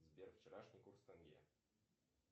сбер вчерашний курс тенге